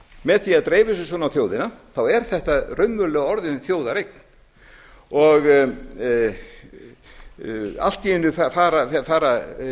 með því að dreifa þessu svona á þjóðina þá er þetta raunverulega orðin þjóðareign allt í einu fara